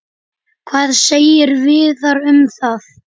Hvað segir Viðar um það?